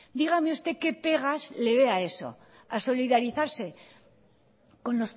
dígame usted qué pegas le ve a eso a solidarizarse con